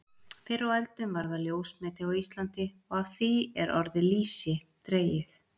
Fyrr á öldum var það ljósmeti á Íslandi og af því er orðið lýsi dregið.